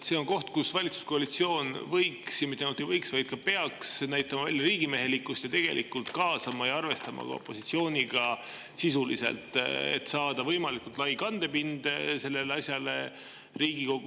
See on koht, kus valitsuskoalitsioon võiks, ja mitte ainult ei võiks, vaid peaks näitama välja riigimehelikkust ja tegelikult kaasama ka opositsiooni ja seda sisuliselt arvestama, et saada võimalikult lai kandepind sellele asjale Riigikogus.